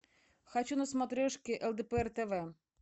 хочу на смотрешке лдпр тв